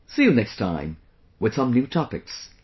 See you next time, with some new topics